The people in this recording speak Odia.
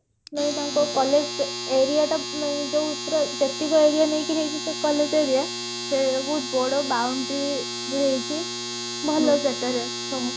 ସେ ତାଙ୍କ collage aria ଟା ମାନେ ଯୋଉ ପୁରା ଯେତିକ aria ନେଇକି ହେଇଛି ସେ collage aria ସେ ବହୁତ ବଡ boundary ଦିଆ ହେଇଛି ଭଲ ସେଠାରେ ସବୁ